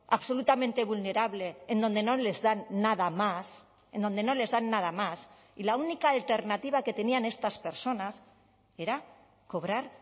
absolutamente vulnerable en donde no les dan nada más en donde no les dan nada más y la única alternativa que tenían estas personas era cobrar